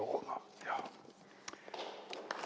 Jah, uueks looma …